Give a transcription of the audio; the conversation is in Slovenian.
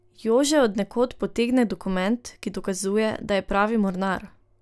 Jože od nekod potegne dokument, ki dokazuje, da je pravi mornar.